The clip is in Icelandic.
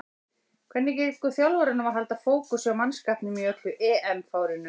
Hvernig gengur þjálfaranum að halda fókus hjá mannskapnum í öllu EM-fárinu?